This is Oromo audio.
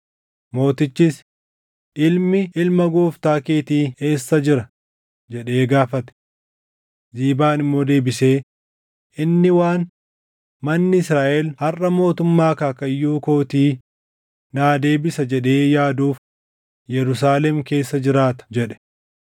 Mootichis, “Ilmi ilma gooftaa keetii eessa jira?” jedhee gaafate. Ziibaan immoo deebisee, “Inni waan, ‘Manni Israaʼel harʼa mootummaa akaakayyuu kootii naa deebisa’ jedhee yaaduuf Yerusaalem keessa jiraata” jedhe.